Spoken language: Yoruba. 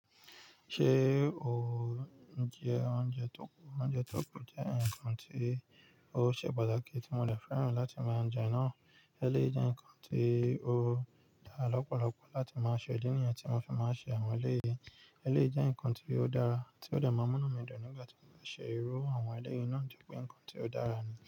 Ṣé o jẹ oúnjẹ tó kù? Oúnjẹ tó kù jẹ́ ǹkan tí ó ṣe pàtàkì tí mo dẹ fẹ́ràn láti máa jẹ náà. Eléyìí jẹ́ ǹkan tí ó dá lọ́pọ̀lọpọ̀ láti máa ṣe. Ìdí nìyẹn tí mo fi máa ń ṣe àwọn eléyìí, eléyìí jẹ́ ǹkan tí ó dára tí ó dẹ máa n múnú mí dùn nígbà tí mo bá ṣe irú àwọn eléyìí náà tori pé ǹkan tí ó dára ni.